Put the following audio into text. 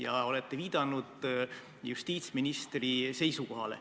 Te olete viidanud justiitsministri seisukohale.